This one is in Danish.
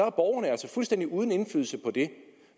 er borgerne altså fuldstændig uden indflydelse på